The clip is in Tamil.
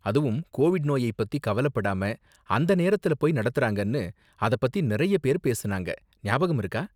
அதுவும் கோவிட் நோயை பத்தி கவலப்படாம அந்த நேரத்துல போய் நடத்துறாங்கன்னு அதப் பத்தி நிறைய பேர் பேசுனாங்க, ஞாபகம் இருக்கா?